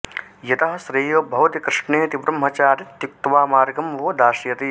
यतः श्रेयो भवति कृष्णेति ब्रह्मचारीत्युक्त्वा मार्गं वो दास्यति